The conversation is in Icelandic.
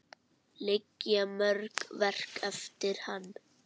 Liggja mörg verk eftir hann.